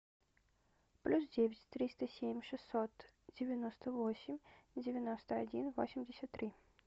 плюс девять триста семь шестьсот девяносто восемь девяносто один восемьдесят три